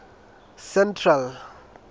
central